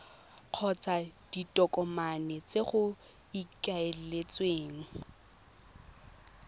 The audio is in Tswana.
kgotsa ditokomane tse go ikaeletsweng